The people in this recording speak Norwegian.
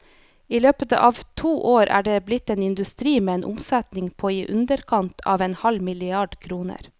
I løpet av to år er de blitt en industri med en omsetning på i underkant av en halv milliard kroner.